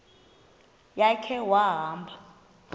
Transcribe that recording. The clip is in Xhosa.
ya khe wahamba